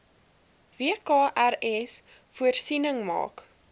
wkrs voorsiening maak